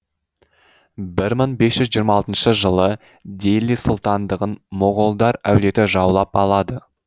бір мың бес жүз жиырма алтыншы жылы дели сұлтандығын моғолдар әулеті жаулап алады